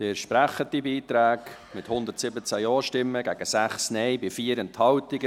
Sie sprechen diese Beiträge, mit 117 Ja- gegen 6 Nein- Stimmen bei 4 Enthaltungen.